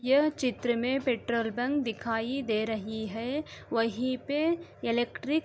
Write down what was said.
यह चित्र में पेट्रोल पं दिखाई दे रही है। वहीं पे इलेक्ट्रिक --